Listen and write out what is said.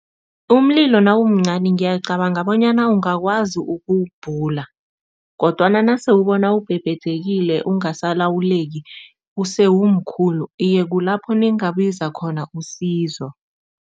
Umlilo nawumncani ngiyacabanga bonyana ungakwazi ukuwubhula kodwana nase ubona ubhebhedlhekile ungasalawuleki use umkhulu, iye kulapho ningabiza khona usizo.